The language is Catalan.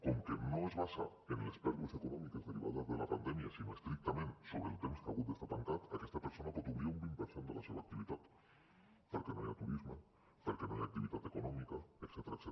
com que no es basa en les pèrdues econòmiques derivades de la pandèmia sinó estrictament sobre el temps que ha hagut d’estar tancat aquesta persona pot obrir a un vint per cent de la seva activitat perquè no hi ha turisme perquè no hi ha activitat econòmica etcètera